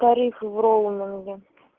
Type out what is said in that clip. тарифы в роуминге